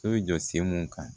So jɔ sen mun kan